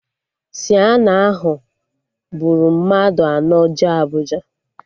Sienna ahụ buru mmadụ anọ jee Abụja